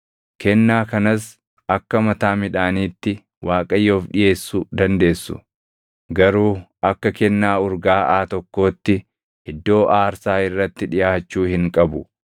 Kennaa kanas akka mataa midhaaniitti Waaqayyoof dhiʼeessu dandeessu; garuu akka kennaa urgaaʼaa tokkootti iddoo aarsaa irratti dhiʼaachuu hin qabu.